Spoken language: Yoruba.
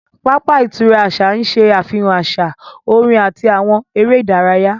Pápá ìtura àṣà ń ṣe àfihàn àṣà, orin àti àwọn eré ìdárayá